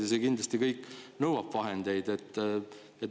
Ja see kõik kindlasti nõuab vahendeid.